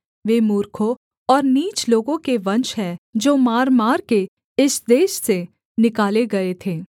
वे मूर्खों और नीच लोगों के वंश हैं जो मारमार के इस देश से निकाले गए थे